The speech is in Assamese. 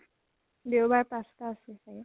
দেওবাৰ পাঁচ টা আছে চাগে